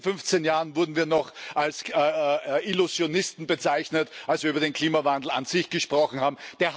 Vor zehn, fünfzehn Jahren wurden wir noch als Illusionisten bezeichnet, als wir über den Klimawandel an sich gesprochen haben.